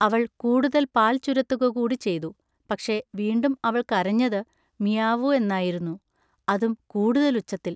അവൾ കൂടുതൽ പാൽ ചുരത്തുകകൂടിചെയ്തു. പക്ഷെ വീണ്ടും അവൾ കരഞ്ഞത് മിയാവൂ എന്നായിരുന്നു, അതും കൂടുതൽ ഉച്ചത്തിൽ.